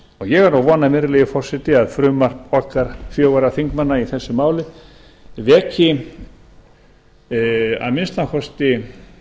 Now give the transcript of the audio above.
ég er að vona virðulegi forseti að frumvarp okkar fjögurra þingmanna í þessu máli veki að minnsta kosti